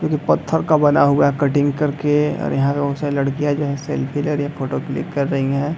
जो की पत्थर का बना हुआ है कटिंग कर के और यहाँ पे बहुत सारी लड़कियाँ जो है सेल्फी ले रही है फोटो क्लिक कर रही है।